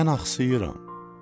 Mən axsıyıram.